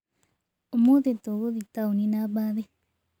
Ũmũthĩ tũgĩthiĩ taũni na mbathi.